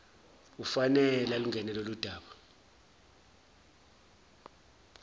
ufanele alungene loludaba